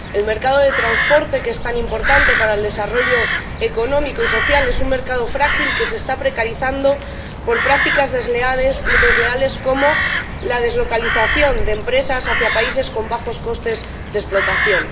El mercado de transporte, que es tan importante para el desarrollo económico y social, es un mercado frágil que se está precarizando por prácticas desleales, como la deslocalización de empresas hacia países con bajos costes de explotación.